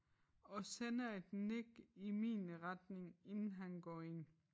Og sender et nik i min retning inden han går ind